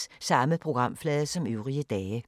Samme programflade som øvrige dage